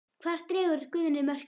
Hvar dregur Guðni mörkin?